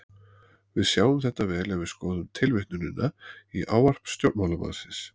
Við sjáum þetta vel ef við skoðum tilvitnunina í ávarp stjórnmálamannsins.